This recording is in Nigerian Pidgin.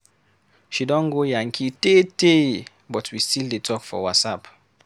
She don go yankee tee tee but we still dey talk for Whatsapp.